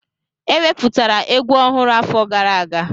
Eweputara egwu ọhụrụ afọ gara aga